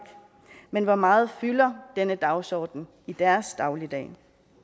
men hvor meget fylder denne dagsorden i deres dagligdag